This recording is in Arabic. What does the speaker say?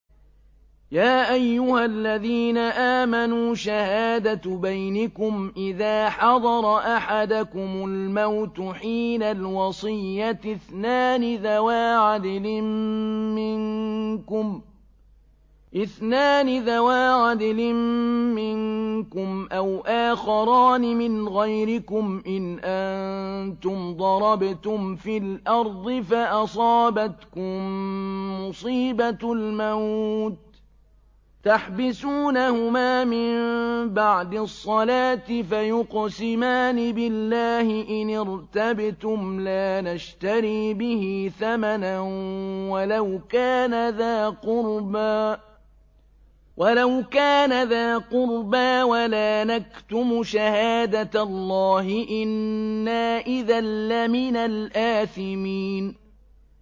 يَا أَيُّهَا الَّذِينَ آمَنُوا شَهَادَةُ بَيْنِكُمْ إِذَا حَضَرَ أَحَدَكُمُ الْمَوْتُ حِينَ الْوَصِيَّةِ اثْنَانِ ذَوَا عَدْلٍ مِّنكُمْ أَوْ آخَرَانِ مِنْ غَيْرِكُمْ إِنْ أَنتُمْ ضَرَبْتُمْ فِي الْأَرْضِ فَأَصَابَتْكُم مُّصِيبَةُ الْمَوْتِ ۚ تَحْبِسُونَهُمَا مِن بَعْدِ الصَّلَاةِ فَيُقْسِمَانِ بِاللَّهِ إِنِ ارْتَبْتُمْ لَا نَشْتَرِي بِهِ ثَمَنًا وَلَوْ كَانَ ذَا قُرْبَىٰ ۙ وَلَا نَكْتُمُ شَهَادَةَ اللَّهِ إِنَّا إِذًا لَّمِنَ الْآثِمِينَ